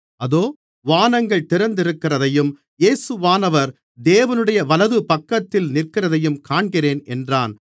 அதோ வானங்கள் திறந்திருக்கிறதையும் இயேசுவானவர் தேவனுடைய வலதுபக்கத்தில் நிற்கிறதையும் காண்கிறேன் என்றான்